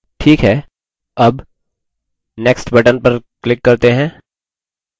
ठीक है अब next button पर click करते हैं